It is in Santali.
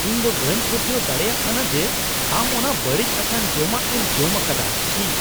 ᱤᱧ ᱫᱚ ᱵᱟᱹᱧ ᱯᱟᱹᱛᱭᱟᱹᱣ ᱫᱟᱲᱮᱭᱟᱜ ᱠᱟᱱᱟ ᱡᱮ ᱟᱢ ᱚᱱᱟ ᱵᱟᱹᱲᱤᱡ ᱟᱠᱟᱱ ᱡᱚᱢᱟᱜ ᱮᱢ ᱡᱚᱢ ᱟᱠᱟᱫᱟ ᱾ ᱪᱷᱤ !